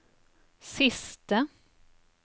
siste